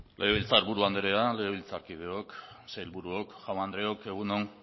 legebiltzar buru andrea legebiltzarkideok sailburuok jaun andreok egun on